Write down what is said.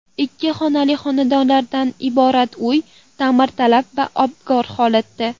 Ikki xonali xonadonlardan iborat uy ta’mirtalab va abgor holatda.